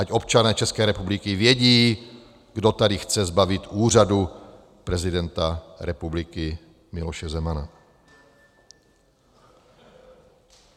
Ať občané České republiky vědí, kdo tady chce zbavit úřadu prezidenta republiky Miloše Zemana.